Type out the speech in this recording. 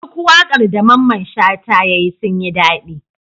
Duk waƙar da mamman shata yayi sun yin dadi